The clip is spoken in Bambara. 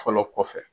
Fɔlɔ kɔfɛ